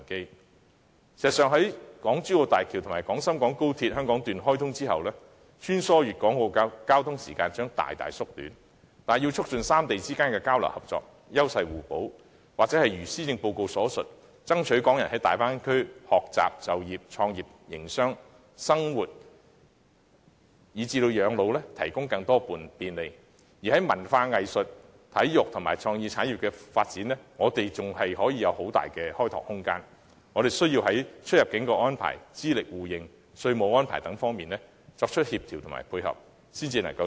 事實上，在港珠澳大橋及廣深港高鐵香港段開通後，穿梭粵港澳的交通時間將大大縮短，但要促進三地之間的交流合作及優勢互補，或是一如施政報告所述，要爭取港人在大灣區學習、就業、創業、營商、生活及養老提供更多便利也好，我們在文化、藝術、體育和創意產業的發展上，仍具相當大的開拓空間，但需在出入境安排、資歷互認和稅務安排等方面作出協調和配合，才可以取得最大效益。